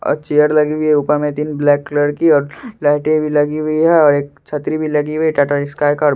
और चेयर लगी हुई है ऊपर में तीन ब्लैक कलर की और लाइटे भी लगी हुई है और एक छतरी भी लगी हुई है टाटा स्काई का।